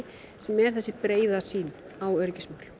sem er þessi breiða sýn á öryggismál